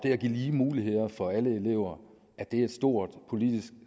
og give lige muligheder for alle elever er et stort politisk